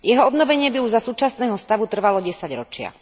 Jeho obnovenie by už za súčasného stavu trvalo desaťročia.